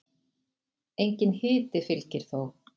Enginn hiti fylgir þó.